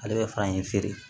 Ale bɛ fara in feere